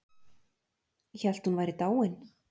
Hélt hún væri dáin